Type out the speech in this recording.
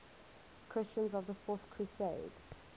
christians of the fourth crusade